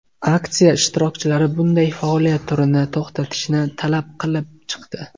Aksiya ishtirokchilari bunday faoliyat turini to‘xtatishni talab qilib chiqdi.